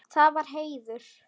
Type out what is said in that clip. Það var heiður.